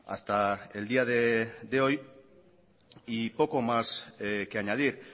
hasta el día de hoy y poco más que añadir